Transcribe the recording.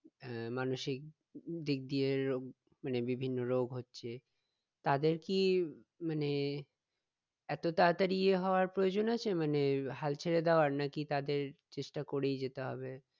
আহ মানসিক দিক দিয়ে রোগ মানে বিভিন্ন রোগ হচ্ছে তাদের কি মানে এতো তাড়াতাড়ি ইয়ে হওয়ার প্রয়োজন আছে মানে হাল ছেড়ে দেওয়ার নাকি তাদের চেষ্টা করেই যেতে হবে?